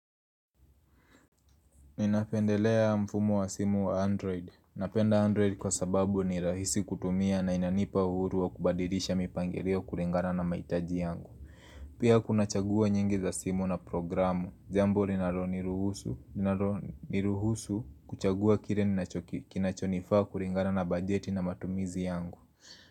Ninapendelea mfumo wa simu wa android. Napenda android kwa sababu ni rahisi kutumia na inanipa uhuru wa kubadilisha mipangilio kulingana na mahitaji yangu. Pia kuna chaguo nyingi za simu na programu. Jambu linalo ni ruhusu kuchagua kile kinachonifaa kulingana na bajeti na matumizi yangu.